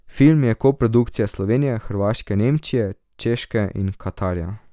Film je koprodukcija Slovenije, Hrvaške, Nemčije, Češke in Katarja.